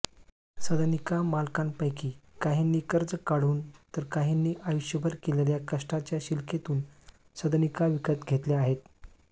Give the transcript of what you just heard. सदनिका मालकांपैकी काहींनी कर्ज काढून तर काहींनी आयुष्यभर केलेल्या कष्टाच्या शिलकेतून सदनिका विकत घेतल्या आहेत